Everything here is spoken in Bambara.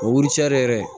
O wurutɛri yɛrɛ